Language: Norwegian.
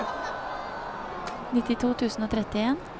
nittito tusen og trettien